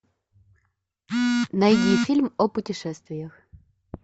найди фильм о путешествиях